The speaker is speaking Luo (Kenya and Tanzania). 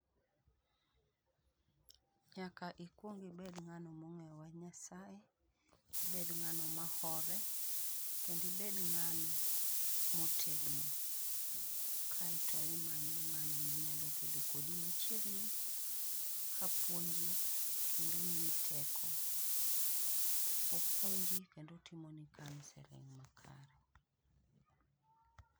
Nyaka ikuong ibed ng'ano mong'eyo wach Nyasaye, ibed ng'ano mahore kendo ibed ng'ano motegno. Kae to imanyo ng'ano manyalo bedo kodi machiegni, ka puonji kendo omiyi teko. Opuonji kendo otimoni counselling makare.